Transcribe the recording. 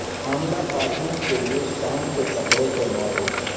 حاملہ خواتین کے لئے شام کے کپڑے کے ماڈل